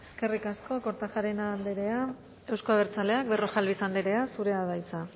eskerrik asko kortajarena andrea euzko abertzaleak berrojalbiz andrea zurea da hitza